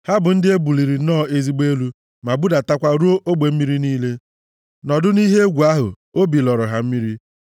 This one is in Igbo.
Ha bụ ndị e buliri nnọọ ezigbo elu, ma budatakwa ruo ogbu mmiri niile; nʼọnọdụ ihe egwu ahụ, obi lọrọ ha mmiri.